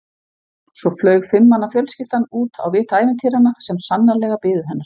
Svo flaug fimm manna fjölskyldan út á vit ævintýranna sem sannarlega biðu hennar.